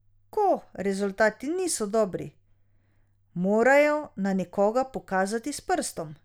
Ko rezultati niso dobri, morajo na nekoga pokazati s prstom.